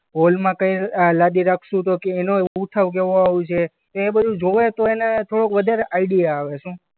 હોલમાં કંઈ આ લાદી રાખશું તો કે અ એનો ઉઠાવ કેવો આવશે. એ બધું જોવે તો એને થોડોક વધારે આઈડિયા આવે શું?